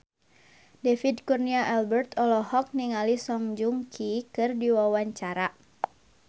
David Kurnia Albert olohok ningali Song Joong Ki keur diwawancara